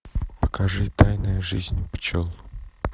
покажи тайная жизнь пчел